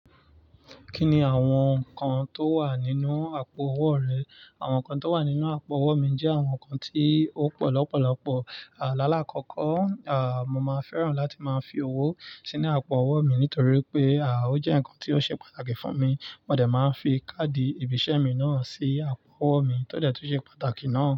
Kí ni àwọn nǹkan tó wà nínú àpò owó rẹ? Àwọn nǹkan tó wà nínú àpò owó mi jẹ́ àwọn nǹkan tí ó pọ̀ lọ́pọ̀lọ́pọ̀. Àlálákọ́kọ́, à, mo máa fẹ́ràn láti máa fi owó sínú àpò owó mi nítorí pé, à, ó jẹ́ nǹkan tí ó ṣe pàtàkì fún mi. Mo dẹ̀ máa ń fi káàdì ìbìṣẹ́ mi náà sí àpò owó mi tó dẹ̀ tún ṣe pàtàkì náà.